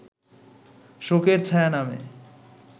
শোকের ছায়া নামে